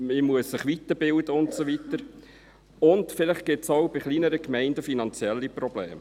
man muss sich weiterbilden und so weiter, und vielleicht gibt es auch bei kleineren Gemeinden finanzielle Probleme.